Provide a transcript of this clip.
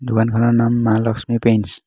দোকানখনৰ নাম মা লক্ষ্মী পেইণ্টচ